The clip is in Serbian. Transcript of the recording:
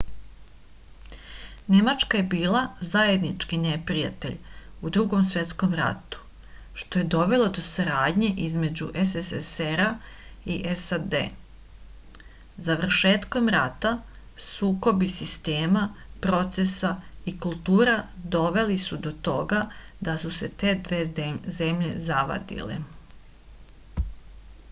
nemačka je bila zajednički neprijatelj u drugom svetskom ratu što je dovelo do saradnje između sssr-a i sad završetkom rata sukobi sistema procesa i kultura doveli su do toga da su se te dve zemlje zavadile